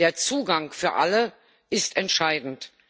Der Zugang für alle ist entscheidend.